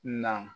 Na